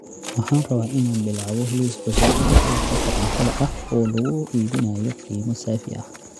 Waxaan rabaa inaan bilaabo liis cusub oo qalabka korantada ah oo lagu iibinayo qiimo saafi ah